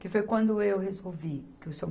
que foi quando eu resolvi que o Seu